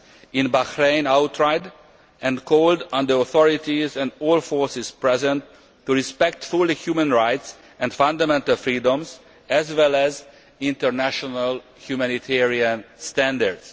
in Bahrain outright and called on the authorities and all forces present to respect fully human rights and fundamental freedoms as well as international humanitarian standards.